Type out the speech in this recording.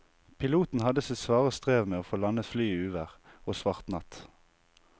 Piloten hadde sitt svare strev med å få landet flyet i uvær og svart natt.